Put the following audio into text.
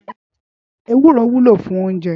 Éwúró wúló fún óunjè